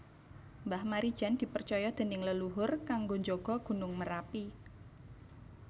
Mbah Marijan dipercoyo dening leluhur kanggo njogo Gunung Merapi